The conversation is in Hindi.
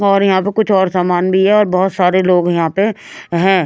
और यहां पे कुछ और समान भी है बहोत सारे लोग यहां पे हैं।